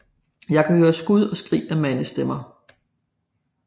Jeg kunne høre skud og skrig af mandsstemmer